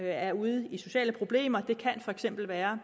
er ude i sociale problemer det kan for eksempel være